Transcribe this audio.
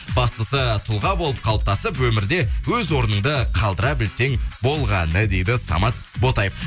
бастысы тұлға болып қалыптасып өмірде өз орныңды қалдыра білсең болғаны дейді самат ботаев